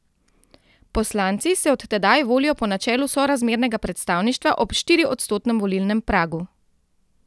Poslanci se od tedaj volijo po načelu sorazmernega predstavništva ob štiriodstotnem volilnem pragu.